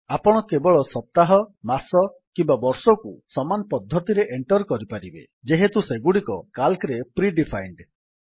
ଆପଣ କେବଳ ସପ୍ତାହ ମାସ କିମ୍ୱା ବର୍ଷକୁ ସମାନ ପଦ୍ଧତିରେ ଏଣ୍ଟର୍ କରିପାରିବେ ଯେହେତୁ ସେଗୁଡ଼ିକ Calcରେ ପ୍ରି ଡିଫାଇଣ୍ଡ୍